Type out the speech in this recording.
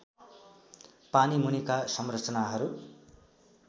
पानी मुनिका संरचनाहरू